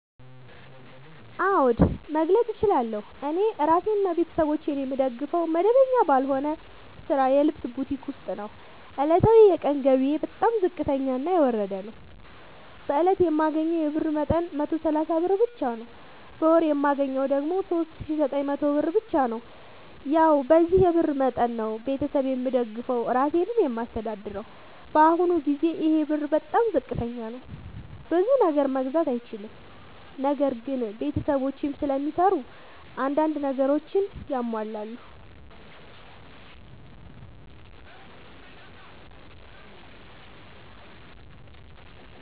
አዎድ መግለጥ እችላለሁ። እኔ እራሴንና ቤተሠቦቼን የምደግፈዉ መደበኛ ባልሆነ ስራ የልብስ ቡቲክ ዉስጥ ነዉ። ዕለታዊ የቀን ገቢየ በጣም ዝቅተኛና የወረደ ነዉ። በእለት የማገኘዉ የብር መጠን 130 ብር ብቻ ነዉ። በወር የማገኘዉ ደግሞ 3900 ብር ብቻ ነዉ። ያዉ በዚህ የብር መጠን መጠን ነዉ። ቤተሠብ የምደግፈዉ እራሴንም የማስተዳድረዉ በአሁኑ ጊዜ ይሄ ብር በጣም ዝቅተኛ ነዉ። ብዙ ነገር መግዛት አይችልም። ነገር ግን ቤተሰቦቼም ስለሚሰሩ አንዳንድ ነገሮችን ያሟላሉ።